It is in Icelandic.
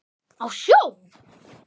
Á sjó?